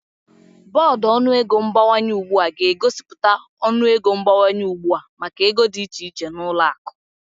Bọọdụ ọnụego mgbanwe ugbu a ga-egosipụta ọnụego mgbanwe ugbu a maka ego dị iche iche na ụlọ akụ